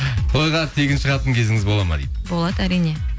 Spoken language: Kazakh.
тойға тегін шығатын кезіңіз болады ма дейді болады әрине